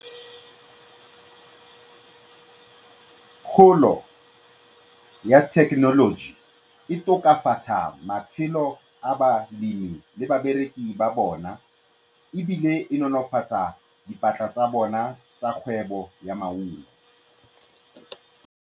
Kgolo ya thekenoloji e tokafatsa matshelo a balemi le babereki ba bona ebile e nolofatsa dipata tsa bona tsa kgwebo ya maungo.